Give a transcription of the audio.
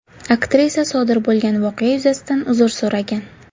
Aktrisa sodir bo‘lgan voqea yuzasidan uzr so‘ragan.